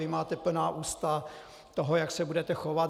Vy máte plná ústa toho, jak se budete chovat.